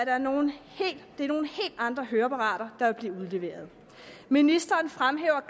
er nogle helt andre høreapparater der vil blive udleveret ministeren fremhæver